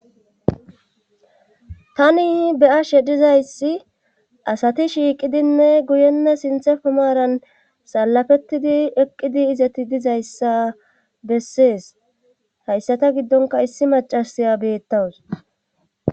Tani beyashe dizayssi asati shiiqidinne guyenna sinthe fomaaran salafettidi eqqidi izati dizayssa bessees hayssata giddonka issi macasaya beettawus.